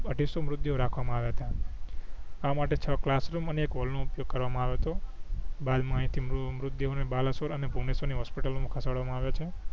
અઢીસો મૃતદેહો રાખવા માં આયા હતા આ માટે છો કલાસ રૂમ અને એક હૉલ નો ઉપયોગ કરવા માં અવિયો હતો બાદ માહિતી મૃ મૃતદેહો બાલેશ્વર અને ભુમેશ્વર ની હોસ્પિટલો માં ખસેડવા માં આવિયા છે